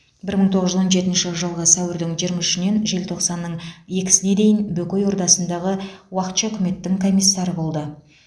бір мың тоғыз жүз он жетінші жылғы сәуірдің жиырма үшінен желтоқсанның екісіне дейін бөкей ордасындағы уақытша үкіметтің комиссары болды